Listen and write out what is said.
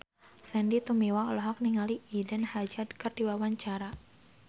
Sandy Tumiwa olohok ningali Eden Hazard keur diwawancara